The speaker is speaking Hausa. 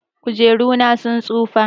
Kujeru na sun tsufa.